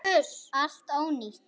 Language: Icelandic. Allt ónýtt!